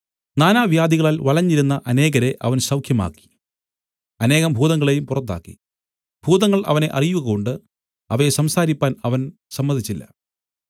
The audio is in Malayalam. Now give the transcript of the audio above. നാനാവ്യാധികളാൽ വലഞ്ഞിരുന്ന അനേകരെ അവൻ സൌഖ്യമാക്കി അനേകം ഭൂതങ്ങളെയും പുറത്താക്കി ഭൂതങ്ങൾ അവനെ അറിയുകകൊണ്ട് അവയെ സംസാരിപ്പാൻ അവൻ സമ്മതിച്ചില്ല